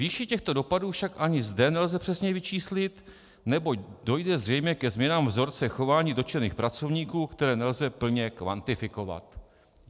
Výši těchto dopadů však ani zde nelze přesně vyčíslit, neboť dojde zřejmě ke změnám vzorce chování dotčených pracovníků, které nelze plně kvantifikovat.